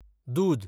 दूद